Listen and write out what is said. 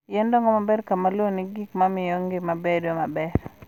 Yien dongo maber ka lowo nigi gik ma miyo ngima bedo maber.